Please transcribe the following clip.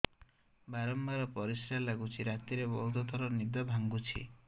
ବାରମ୍ବାର ପରିଶ୍ରା ଲାଗୁଚି ରାତିରେ ବହୁତ ଥର ନିଦ ଭାଙ୍ଗୁଛି